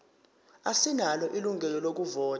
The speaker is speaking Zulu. asinalo ilungelo lokuvota